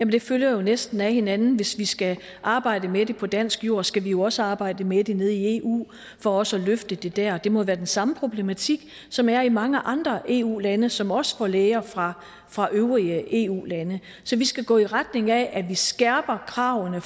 det følger jo næsten af hinanden hvis vi skal arbejde med det på dansk jord skal vi jo også arbejde med det nede i eu for også at løfte det der det må være den samme problematik som er i mange andre eu lande som også er for læger fra fra øvrige eu lande så vi skal gå i retning af at vi skærper kravene